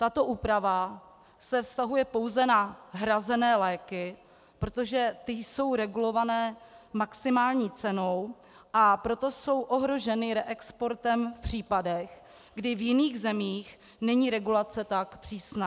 Tato úprava se vztahuje pouze na hrazené léky, protože ty jsou regulovány maximální cenou, a proto jsou ohroženy reexportem v případech, kdy v jiných zemích není regulace tak přísná.